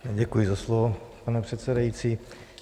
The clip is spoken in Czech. Děkuji za slovo, pane předsedající.